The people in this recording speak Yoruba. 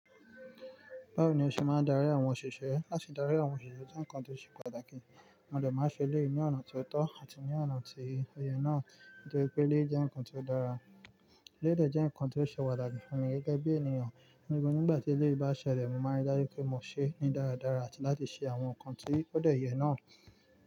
Bawo ni ó ṣe máa darí àwọn òṣìṣẹ́? Láti darí àwọn òṣìṣẹ́ jẹ́ nǹkan tó ṣe pàtàkì. Mo dè máa n ṣe eleyì ní ọ̀nà ti o tọ́ àti ní ọ̀nà tí o yẹ náà tó jé wipe eleyi jẹ́ nǹkan ti o dára. Eleyi dé jẹ́ nǹkan ti o ṣe pataki fún mi gẹ́gẹ́ bí ènìyàn. Nígbà tí eleyi bá ṣẹlẹ̀, mo máa n rí dájú pé mo ṣeé ní dáradára àti láti ṣe àwọn nǹkan tí ó dẹ̀ yẹ náà.